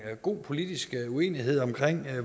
god politisk uenighed om